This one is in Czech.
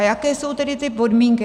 A jaké jsou tedy ty podmínky.